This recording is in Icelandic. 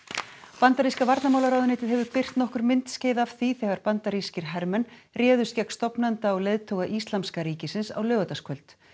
bandaríska varnarmálaráðuneytið hefur birt nokkur myndskeið af því þegar bandarískir hermenn réðust gegn stofnanda og leiðtoga Íslamska ríkisins á laugardagskvöld